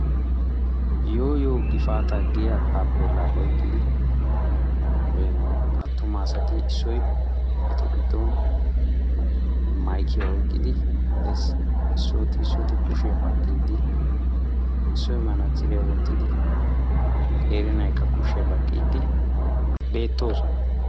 yooyoo gifaataa giyaa taafeelaa oyqidi ee attuma asati eta giddon maykkiya oyqqidi dees. issooti issot kushiya baqiidi qeeri naykka kushiya baqiidi beetoososna.